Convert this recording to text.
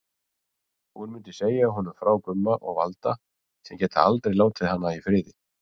Hún mundi segja honum frá Gumma og Valda sem geta aldrei látið hana í friði.